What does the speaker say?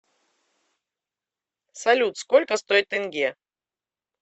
салют сколько стоит тенге